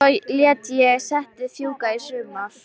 Svo lét ég settið fjúka í sumar.